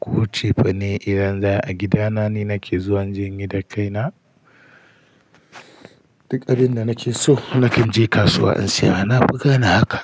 ko cefane idan za a gida na ni nake zuwa inje inyi da kaina. Duk abin da nake so na kanje kasuwa in siya. Na fi gane haka.